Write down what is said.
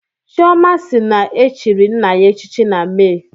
Chioma si na e chiri nna ya echichi na Mee